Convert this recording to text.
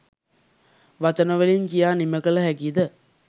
වචන වලින් කියා නිමකළ හැකි ද?